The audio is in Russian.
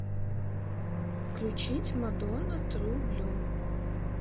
включить мадонна тру блю